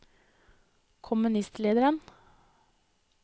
kommunistlederen